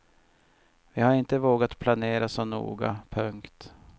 Vi har inte vågat planera så noga. punkt